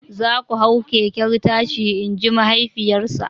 "Za ku hau keken tashi" in ji mahaifiyarsa!